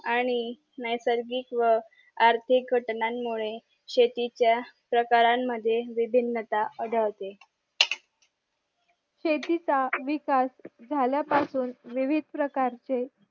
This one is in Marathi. आणि नैसर्गिक व आर्थिक घटनान मुळे शेती चा प्रकारानं मद्ये विभीन्नता आढळते शेती चा विकास जाल्या पासून विविध प्रकारचे